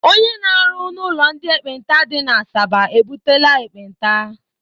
Ónyé na-arụ n' ụlọ ndị ekpenta dị n'Asaba ebutela ekpenta.